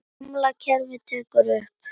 Gamla kerfið tekið upp?